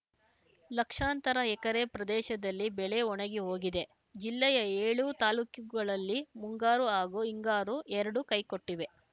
ಲಕ್ಷಾಂತರ ಎಕರೆ ಪ್ರದೇಶದಲ್ಲಿ ಬೆಳೆ ಒಣಗಿ ಹೋಗಿದೆ ಜಿಲ್ಲೆಯ ಏಳೂ ತಾಲೂಕುಗಳಲ್ಲಿ ಮುಂಗಾರು ಹಾಗೂ ಹಿಂಗಾರು ಎರಡೂ ಕೈಕೊಟ್ಟಿವೆ